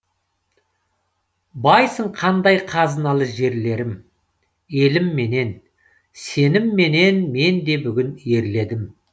байсың қандай қазыналы жерлерім елімменен сенімменен мен де бүгін ерледім